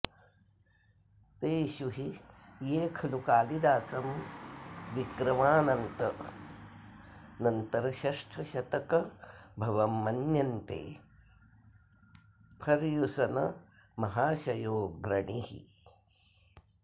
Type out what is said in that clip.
तेषु हि ये खलु कालिदासं विक्रमानन्तरषष्ठशतकभवं मन्यन्ते फर्युसनमहाशयोऽग्रणीः